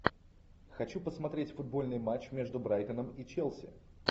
хочу посмотреть футбольный матч между брайтоном и челси